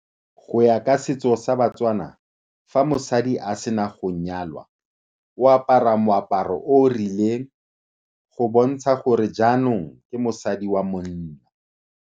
Go ya ka setso sa batswana, fa mosadi a sena go nyalwa o apara moaparo o o rileng go bontsha gore jaanong ke mosadi wa monna.